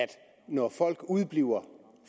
når folk udebliver